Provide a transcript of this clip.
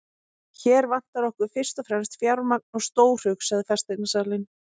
Hér vantar okkur fyrst og fremst fjármagn og stórhug, sagði fasteignasalinn.